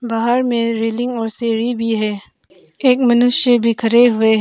बाहर में रेलिंग और सीढ़ी भी है एक मनुष्य भी खड़े हुए--